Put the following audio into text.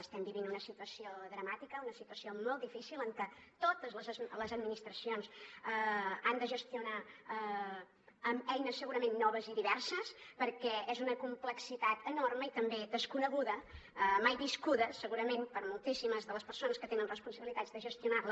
estem vivint una situació dramàtica una situació molt difícil en què totes les administracions han de gestionar amb eines segurament noves i diverses perquè és una complexitat enorme i també desconeguda mai viscuda segurament per moltíssimes de les persones que tenen responsabilitats de gestionar la